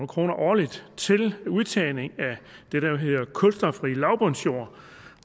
kroner årligt til udtagning af det der jo hedder kulstofrig lavbundsjord